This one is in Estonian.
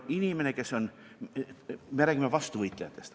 Me räägime vastuvõtjatest.